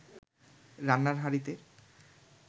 রান্নার হাঁড়িতে